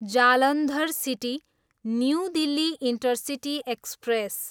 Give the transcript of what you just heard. Jalandhar city, new Delhi intercity express